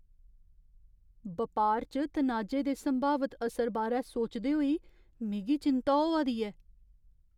बपार च तनाजे दे संभावत असर बारै सोचदे होई मिगी चिंता होआ दी ऐ ।